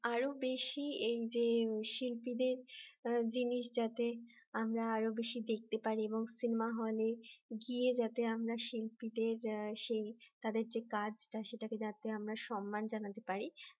আরো বেশি এই যে শিল্পীদের জিনিস যাতে আমরা আরো বেশি দেখতে পারি এবং সিনেমা হলে গিয়ে যাতে আমরা শিল্পীদের সেই তাদের যে কাজ সেটাকে যাতে আমরা সম্মান জানাতে পারি